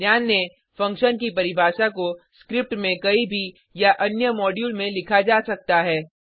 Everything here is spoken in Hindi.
ध्यान दें फंक्शन की परिभाषा को स्क्रिप्ट में कहीं भी या अन्य मॉड्यूल में लिखा जा सकता है